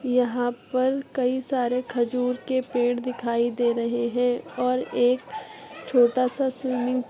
यहाँ पर कई सारे खजूर के पेड़ दिखाई दे रहे हैं और एक छोटा-सा स्वीमिंग --